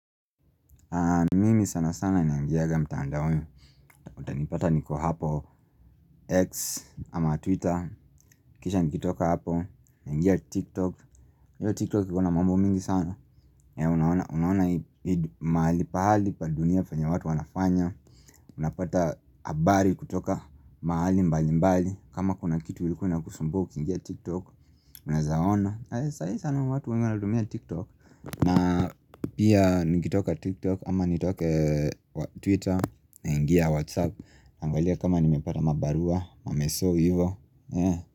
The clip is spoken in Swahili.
Mimi sana sana naingianga mtandaoni Uta nipata niko hapo X ama Twitter Kisha nikitoka hapo naingia TikTok Yo TikTok kikuna mambo mingi sana Unaona maali pahali padunia fanya watu wanafanya Unapata abari kutoka maali mbali mbali kama kuna kitu ilikua inakusumbua ukiingia TikTok Unaezaona Sae sana watu wengu aladumia TikTok na pia nigitoka tiktok ama nitoke twitter na ingia whatsapp Angalia kama nimepata mabarua mameso hivo.